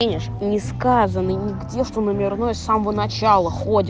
несказанный нигде что номерной самого начала ходят